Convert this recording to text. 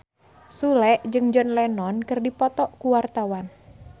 Sule jeung John Lennon keur dipoto ku wartawan